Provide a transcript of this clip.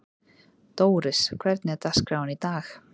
Dóris, hvernig er dagskráin í dag?